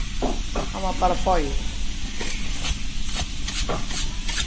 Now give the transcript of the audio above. Hann varð bara foj.